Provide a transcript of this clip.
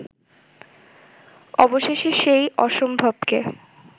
অবশেষে সেই অসম্ভবকে